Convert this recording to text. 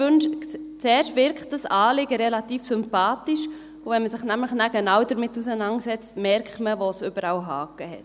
Zuerst wirkt das Anliegen relativ sympathisch, und wenn man sich nämlich dann genau damit auseinandersetzt, merkt man, wo es überall Hacken hat.